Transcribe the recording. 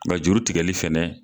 Nka juru tigɛli fɛnɛ.